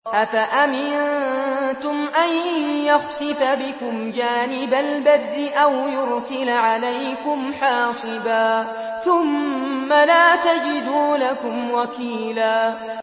أَفَأَمِنتُمْ أَن يَخْسِفَ بِكُمْ جَانِبَ الْبَرِّ أَوْ يُرْسِلَ عَلَيْكُمْ حَاصِبًا ثُمَّ لَا تَجِدُوا لَكُمْ وَكِيلًا